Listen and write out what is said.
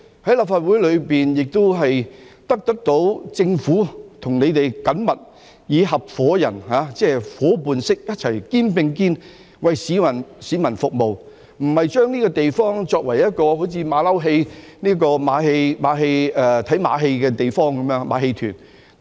在立法會中，亦得到政府與我們緊密地以合夥人般，夥伴式地一起肩並肩為市民服務，而非把這個地方作為"馬騮戲"、看馬戲的地方，是像馬戲團般。